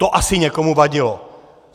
To asi někomu vadilo.